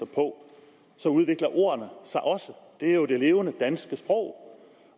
på så udvikler ord sig også det er jo det levende danske sprog